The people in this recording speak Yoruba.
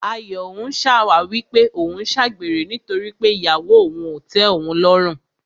Ayọ̀ ń ṣàwáwí pé òun ń ṣàgbèrè nítorí pé ìyàwó òun ò tẹ́ òun lọ́rùn.